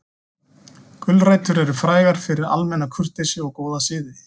Gulrætur eru frægar fyrir almenna kurteisi og góða siði.